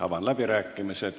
Avan läbirääkimised.